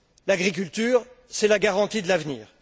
L'agriculture, c'est la garantie de l'avenir.